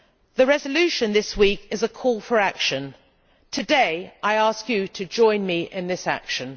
The resolution this week is a call for action. Today I ask you to join me in this action.